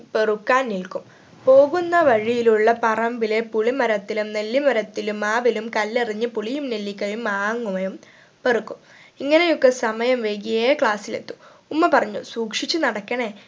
പെറുക്കാൻ നിൽക്കും പോവുന്ന വഴിയിയിലുള്ള പറമ്പിലെ പുളിമരത്തിലും നെല്ലിമരത്തിലും മാവിലും കല്ലെറിഞ്ഞു പുളിയും നെല്ലിക്കയും മാങ്ങുകയും പെറുക്കും ഇങ്ങനെ ഒക്കെ സമയം വൈകിയേ class ൽ എത്തു ഉമ്മ പറഞ്ഞു സൂക്ഷിച്ച് നടക്കണേ